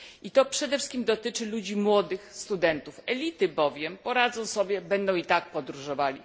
I to przede wszystkim dotyczy ludzi młodych, studentów, elity bowiem poradzą sobie, będą i tak podróżowały.